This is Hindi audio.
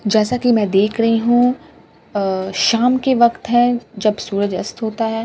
जैसा कि मैं देख रही हूं अ शाम के वक्त है जब सूरज अस्त होता है और --